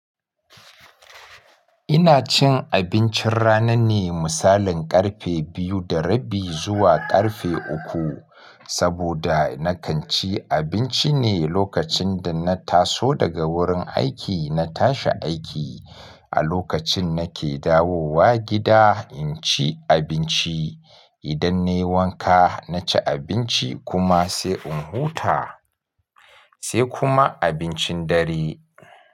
Ina cin abincin rana ne misalin ƙarfe biyu da rabi zuwa ƙarfe uku, saboda na kan ci abinci ne lokacin da na taso daga wurin aiki. Na tashi aiki a lokacin nake dawowa gida in ci abinci. Idan na yi wanka na ci abinci kuma sai in huta, sai kuma abincin dare.